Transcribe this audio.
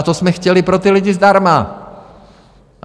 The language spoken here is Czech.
A to jsme chtěli pro ty lidi zdarma.